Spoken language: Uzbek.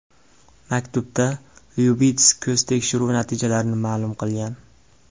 Maktubda Lyubits ko‘z tekshiruvi natijalarini ma’lum qilgan.